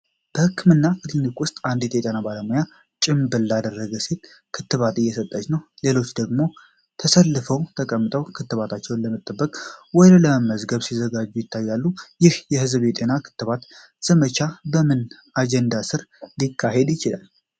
በህክምና ክሊኒክ ውስጥ አንዲት ጤና ባለሙያ ጭምብል ላደረገች ሴት ክትባት እየሰጠች ነው። ሌሎች ሰዎች ደግሞ ተሰልፈውና ተቀምጠው ክትባታቸውን ለመጠበቅ ወይም ለመመዝገብ ሲዘጋጁ ይታያሉ። ይህ የህዝብ ጤና የክትባት ዘመቻ በምን አጀንዳ ስር ሊካሄድ ይችላል?